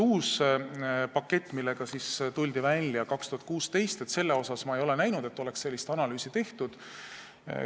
Uue paketiga tuldi välja 2016 ja ma ei ole näinud, et seal oleks sellist analüüsi tehtud.